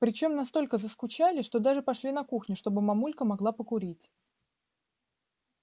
причём настолько заскучали что даже пошли на кухню чтобы мамулька могла покурить